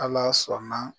Ala sɔnna